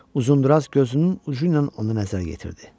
Uzundraz gözünün ucu ilə ona nəzər yetirdi.